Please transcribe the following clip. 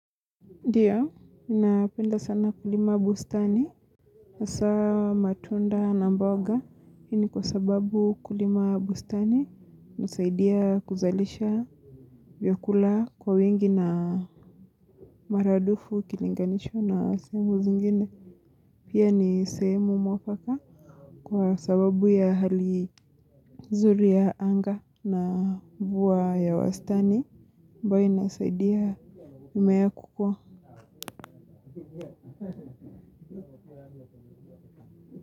Ndiyo, ninapenda sana kulima bustani, hasaa matunda na mboga, hii ni kwa sababu kulima bustani husaidia kuzalisha vyakula kwa wingi na maradufu ukilinganisha na sehemu zingine. Pia ni sehemu mwafaka kwa sababu ya hali nzuri ya anga na mvua ya wastani, ambayo inasaidia mimea kukua.